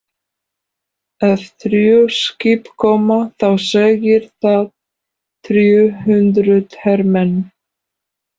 Ef þrjú skip koma þá segir það þrjú hundruð hermenn.